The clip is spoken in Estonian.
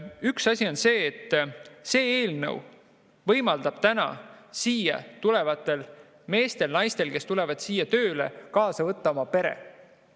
Üks asi on see, et see eelnõu võimaldab meestel ja naistel, kes tulevad siia tööle, võtta kaasa oma pere.